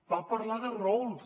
va parlar de rols